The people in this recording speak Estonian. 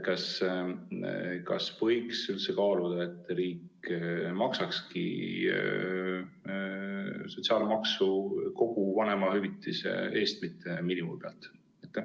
Kas võiks üldse kaaluda, et riik maksakski sotsiaalmaksu kogu vanemahüvitise alusel, mitte miinimumi alusel?